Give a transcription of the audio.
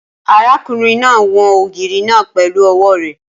Arákùnrin náà won ògiri náà pẹ̀lú ọwọ́ rẹ